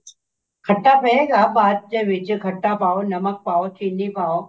ਖੱਟਾ ਪਏਗਾ ਬਾਅਦ ਚ ਖੱਟਾ ਪਾਓ ਨਮਕ ਪਾਓ ਚਿੰਨੀ ਪਾਓ